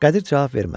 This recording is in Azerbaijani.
Qədir cavab vermədi.